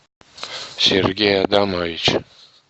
сергей адамович